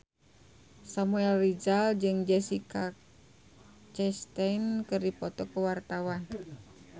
Samuel Rizal jeung Jessica Chastain keur dipoto ku wartawan